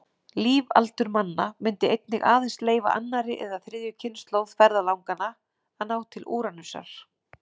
Lífaldur manna myndi einnig aðeins leyfa annarri eða þriðju kynslóð ferðalanganna að ná til Úranusar.